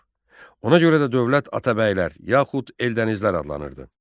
Ona görə də dövlət Atabəylər yaxud Eldənizlər adlanırdı.